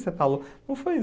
Você falou... Não foi isso.